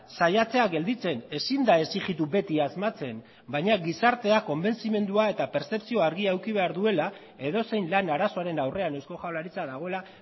saiatzea gelditzen ezin da exigitu beti asmatzen baina gizarteak konbentzimendua eta pertzepzio handia izan behar duela edozein lan arazoaren aurrean eusko jaurlaritza dagoela